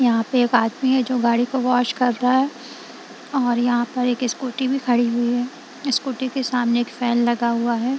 यहां पे एक आदमी है जो गाड़ी को वाश कर रहा है और यहां पर एक स्कूटी भी खड़ी हुई है स्कूटी के सामने एक फैन लगा हुआ है।